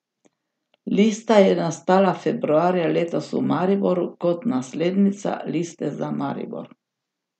Lista je nastala februarja letos v Mariboru kot naslednica Liste za Maribor.